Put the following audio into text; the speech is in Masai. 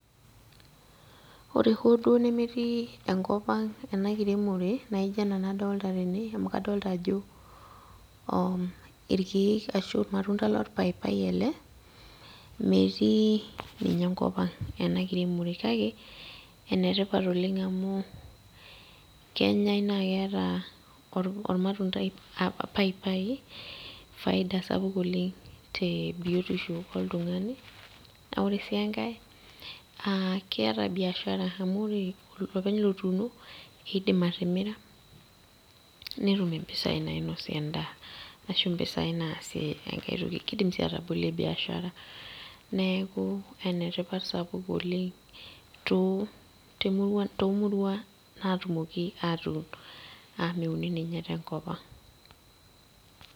Ore hoo duo nemetii enkop ang ena kiremore naijo ena nadolta tene amu kadolta ajo irkiek ashu olchani lorpaipai le metii ninye enkop ang ena kiremore kake ene tipat oleng amu kenyae naa keeta ormatundai, paipai faida sapuk oleng te biotisho oltungani . Naa ore sii enkae , aa keeta biashara amu ore olopeny otuuno naa kidim atimira netum impisai nainosie endaa , kidim sii atabolie biashara neeku ene tipat sapuk oleng te too murua natumoki atuun amu meuni ninye tenkop ang.